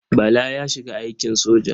Bala ya shiga aikin soja.